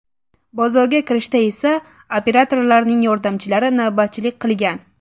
Bozorga kirishda esa operatorlarning yordamchilari navbatchilik qilgan.